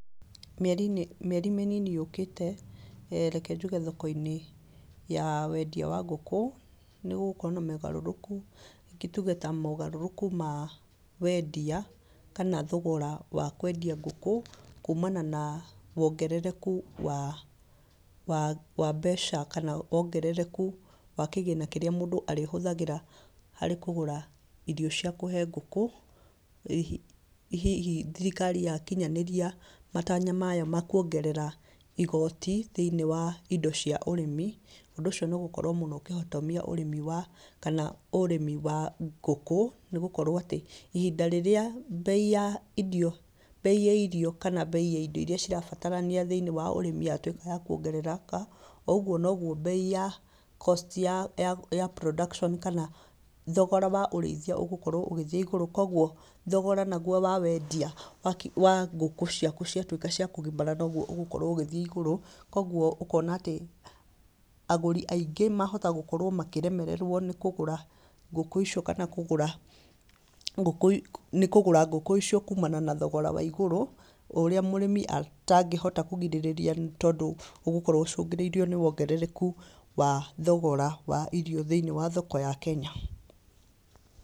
Mĩeri-inĩ, mĩeri mĩnini yũkĩte, reke njuge thoko-inĩ ya wendia wa ngũkũ, nĩgũgũkorwo na mogarũrũku, rĩngĩ tuge ta mogarũrũku ma wendia, kana thogora wa kwendia ngũkũ kumana na wongerereku wa, wa wa mbeca kana wongerereku wa kĩgĩna kĩrĩa mũndũ arĩhũthagĩra harĩ kũgũra irio cia kũhe ngũkũ, hihi thirikari yakinyanĩria matanya mayo makuongerera igoti thĩ-inĩ wa indo cia ũrĩmi, ũndũ ũcio nĩũgũkorwo mũno ũkĩhotomia ũrĩmi wa, kana, ũrĩmi wa ngũkũ, nĩgũkorwo atĩ, ihinda rĩrĩa mbei ya irio, mbei ya irio kana mbei ya indo iria cirabatarania thĩ-inĩ wa ũrĩmi atwĩkaga wa kuongerera, oũguo noguo mbei ya cost ya production kana, thogora wa ũrĩithia ũgũkorwo ũgĩthiĩ igũrũ, koguo thogora naguo wa wendia wakũ wa ngũkũ ciaku ciatwĩka cia kũgimara noguo ũgũkorwo ũgĩthiĩ igũrũ, koguo, ũkona atĩ, agũri aingĩ mahota gũkorwo makĩremererwo nĩ kũgũra, ngũkũ icio kana kũgũra, ngũkũ, kũgũra ngũkũ icio kumana na thogora wa igũrũ o ũrĩa mũrĩmi atangĩhota kũgirĩrĩria nĩtondũ, ũgũkorwo ũcũngĩrĩirio nĩ wongerereku wa thogora wa irio thĩ-inĩ wa thoko ya kenya.